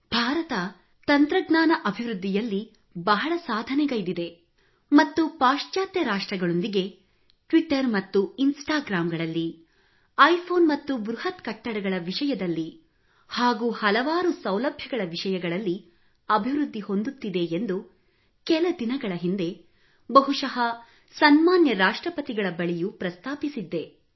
ಭಾರತ ತಂತ್ರಜ್ಞಾನ ಅಭಿವೃದ್ಧಿಯಲ್ಲಿ ಬಹಳ ಸಾಧನೆಗೈದಿದೆ ಮತ್ತು ಪಾಶ್ಚಾತ್ಯ ರಾಷ್ಟ್ರಗಳೊಂದಿಗೆ ಟ್ವಿಟ್ಟರ್ ಮತ್ತು ಇನ್ಸ್ಟಾಗ್ರಾಂ ಗಳಲ್ಲಿ ಐ ಫೋನ್ ಮತ್ತು ಬೃಹತ್ ಕಟ್ಟಡಗಳ ವಿಷಯದಲ್ಲಿ ಹಾಗೂ ಹಲವಾರು ಸೌಲಭ್ಯಗಳ ವಿಷಯಗಳಲ್ಲಿ ಅಭಿವೃದ್ಧಿ ಹೊಂದುತ್ತಿದೆ ಎಂದು ಕೆಲ ದಿನಗಳ ಹಿಂದೆ ಬಹುಶಃ ಸನ್ಮಾನ್ಯ ರಾಷ್ಟ್ರಪತಿಗಳ ಬಳಿಯೂ ಪ್ರಸ್ತಾಪಿಸಿದ್ದೆ